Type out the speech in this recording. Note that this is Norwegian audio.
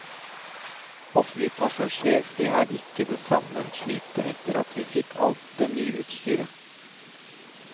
Å fly passasjerfly er ikke det samme slitet etter at vi fikk alt det nye utstyret.